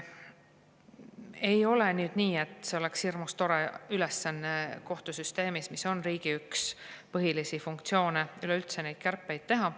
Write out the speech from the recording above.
" Ei ole nii, et on hirmus tore ülesanne kohtusüsteemis, mis on üks riigi põhilisi funktsioone, üleüldse neid kärpeid teha.